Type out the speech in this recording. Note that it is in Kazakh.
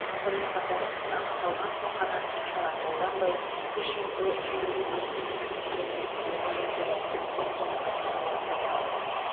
сонымен қатар іс анықталған соң ғана шара қолданбай кешенді жүйелі ескерту тетіктерін әзірлеу қажет деді президент қасым жомарт тоқаев